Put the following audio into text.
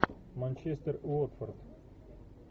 манчестер уотфорд